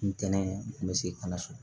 Ntɛnɛn n bɛ segin ka na so